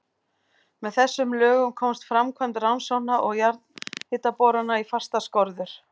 Með þessum lögum komst framkvæmd rannsókna og jarðhitaborana í fastar skorður.